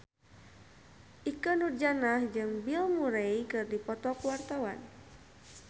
Ikke Nurjanah jeung Bill Murray keur dipoto ku wartawan